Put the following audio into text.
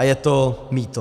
A je to mýto.